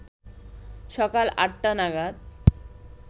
সকাল আটটা নাগাদ